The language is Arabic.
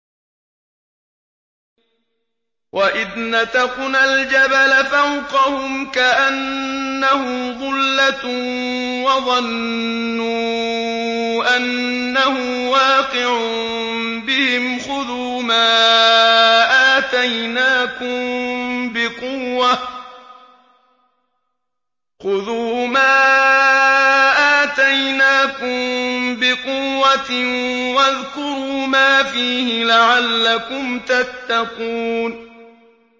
۞ وَإِذْ نَتَقْنَا الْجَبَلَ فَوْقَهُمْ كَأَنَّهُ ظُلَّةٌ وَظَنُّوا أَنَّهُ وَاقِعٌ بِهِمْ خُذُوا مَا آتَيْنَاكُم بِقُوَّةٍ وَاذْكُرُوا مَا فِيهِ لَعَلَّكُمْ تَتَّقُونَ